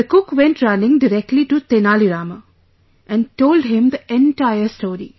The cook went running directly to Tenali Rama and told him the entire story